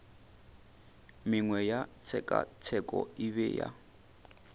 mengwe ya tshekatsheko e bea